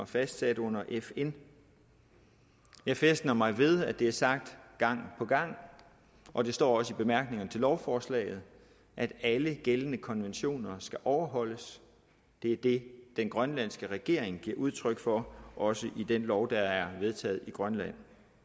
fastsat under fn jeg fæstner mig ved at det er sagt gang på gang og det står også i bemærkningerne til lovforslaget at alle gældende konventioner skal overholdes det er det den grønlandske regering giver udtryk for også i den lov der er vedtaget i grønland